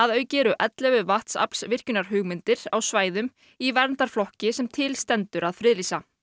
auki eru ellefu á svæðum í verndarflokki sem til stendur að friðlýsa